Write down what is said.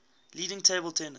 leading table tennis